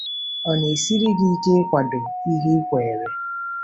Ọ na-esiri gị ike ịkwado ihe i kweere?